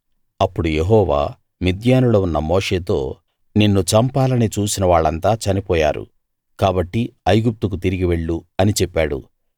అప్పుడు యెహోవా మిద్యానులో ఉన్న మోషేతో నిన్ను చంపాలని చూసిన వాళ్ళంతా చనిపోయారు కాబట్టి ఐగుప్తుకు తిరిగి వెళ్లు అని చెప్పాడు